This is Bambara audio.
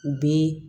U bɛ